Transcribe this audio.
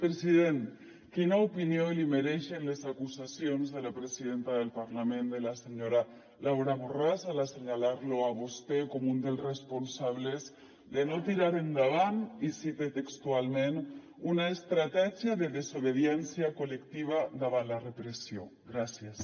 president quina opinió li mereixen les acusacions de la presidenta del parlament de la senyora laura borràs a l’assenyalar lo a vostè com un dels responsables de no tirar endavant i cite textualment una estratègia de desobediència col·lectiva davant la repressió gràcies